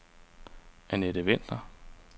Annette Vinther